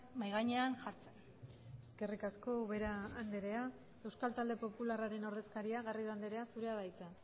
mahai gainean jartzen eskerrik asko ubera andrea euskal talde popularraren ordezkaria garrido andrea zurea da hitza